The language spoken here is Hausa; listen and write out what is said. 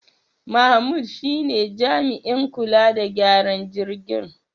Mahmud shine jami'in kula da gyaran jirgin.